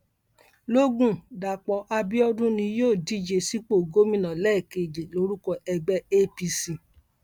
lógún dapò abiodun ni yóò díje sípò gómìnà lẹẹkejì lórúkọ ẹgbẹ apc